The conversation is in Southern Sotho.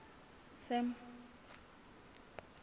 sam